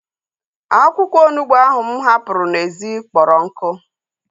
Akwụkwọ onugbu ahu mụ hapụrụ n'ezi kpọrọ nkụ